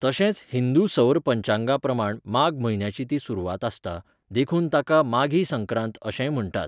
तशेंच हिंदू सौर पंचांगा प्रमाण माघ म्हयन्याची ती सुरवात आसता, देखून ताका 'माघी संक्रांत' अशेंय म्हण्टात.